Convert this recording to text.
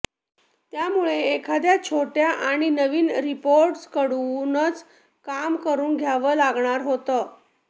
त्यामुळे एखाद्या छोट्या आणि नवीन रिपोर्टरकडूनच काम करवून घ्यावं लागणार होतं